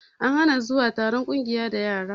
An hana zuwa taron ƙungiya da yara